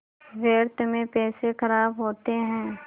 व्यर्थ में पैसे ख़राब होते हैं